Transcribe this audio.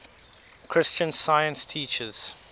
christian science teaches